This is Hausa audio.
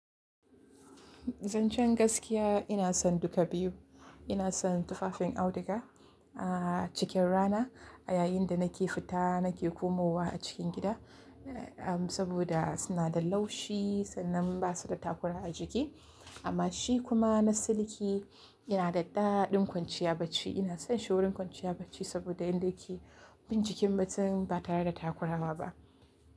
Zancen gaskiya ina son duka biyu. Ina son tufafin auduga, ah cikin rana yayinda nake fita nake komowa a cikin gida, eh amm saboda suna da laushi sannan basa da takura a jiki. Amma shi kuma na siliki yana da daɗin kwanciya bacci. Ina son shi wurin kwanciya bacci saboda yanda yake bin jikin mutum ba tare da takura ma ba.